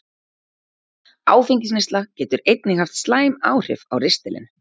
Áfengisneysla getur einnig haft slæmt áhrif á ristilinn.